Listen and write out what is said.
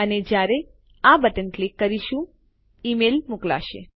અને જયારે આપણે આ બટન ક્લિક કરીશું ઈમેલ મોકલાશે